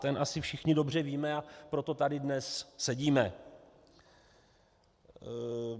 Ten asi všichni dobře víme, a proto tady dnes sedíme.